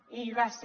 i hi va ser